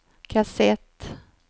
kassett